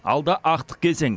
алда ақтық кезең